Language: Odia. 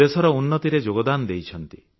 ଦେଶର ଉନ୍ନତିରେ ଯୋଗଦାନ କରିଛନ୍ତି